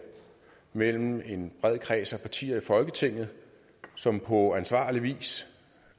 mellem en bred kreds af partier i folketinget som på ansvarlig vis